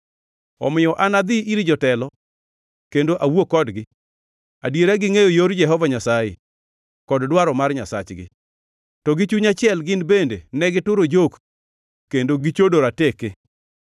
Omiyo anadhi ir jotelo kendo awuo kodgi; adiera gingʼeyo yor Jehova Nyasaye, kod dwaro mar Nyasachgi.” To gi chuny achiel gin bende negituro jok, kendo gichodo rateke.